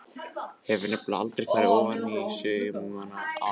Hef nefnilega aldrei farið ofaní saumana á einveru minni.